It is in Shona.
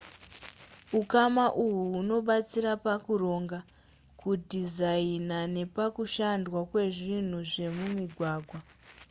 ukama uhu hunobatsira pakuronga kudhizaina nepakushandwa kwezvinhu zvemumigwagwa